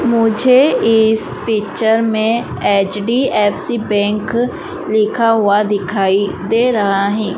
मुझे इस पिक्चर में एच_डी_एफ_सी बैंक लिखा हुआ दिखाई दे रहा है।